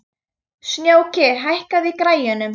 Snjóki, hækkaðu í græjunum.